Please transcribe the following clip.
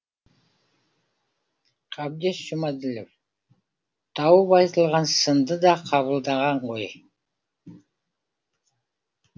қабдеш жұмаділов тауып айтылған сынды да қабылдаған ғой